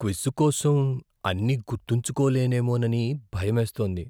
Quiz కోసం అన్నీ గుర్తుంచుకోలేనేమోనని భయమేస్తోంది.